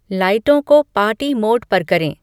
लाइटों को party mode पर करें